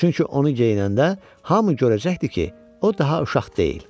Çünki onu geyinəndə hamı görəcəkdi ki, o daha uşaq deyil.